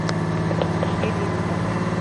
элинта